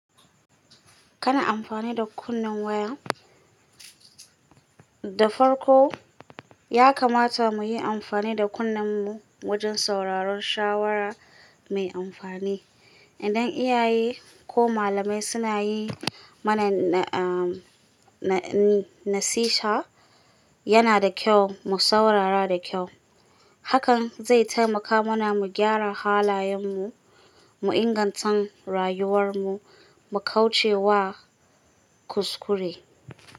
Kana amfani da kunnen waya? Da farko, ya kamata mu yi amfani da kunnen mu wajen sauraron shawara mai amfani. Idan iyaye ko malamai suna yi mana na-a-na-nasiha, yana da kyau mu saurara da kyau. Hakan zai taimaka mana mu gyara halayenmu, mu inganta rayuwar mu, mu kauce wa kuskure.